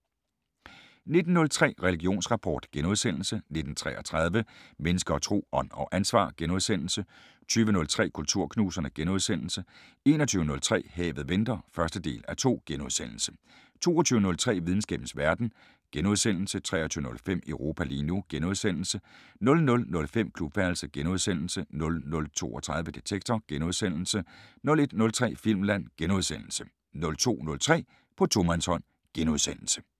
19:03: Religionsrapport * 19:33: Mennesker og Tro: Ånd og ansvar * 20:03: Kulturknuserne * 21:03: Havet venter (1:2)* 22:03: Videnskabens Verden * 23:05: Europa lige nu * 00:05: Klubværelset * 00:32: Detektor * 01:03: Filmland * 02:03: På tomandshånd *